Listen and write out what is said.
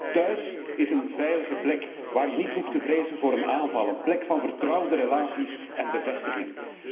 Hunt thuis is een veilige plek, waar je niet hoeft te vrezen voor een aanval, een plek van vertrouwde relaties en bevestiging.